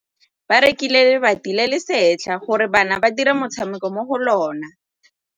Ba rekile lebati le le setlha gore bana ba dire motshameko mo go lona.